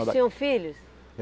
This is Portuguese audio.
Tinham filhos?